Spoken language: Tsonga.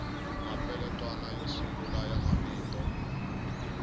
mapeletwana yo sungula ya mavito